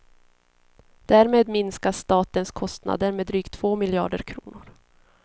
Därmed minskar statens kostnader med drygt två miljarder kronor.